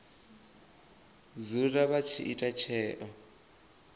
dzula vha tshi ita tsheo